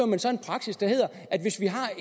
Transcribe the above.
man så en praksis der hedder at hvis vi har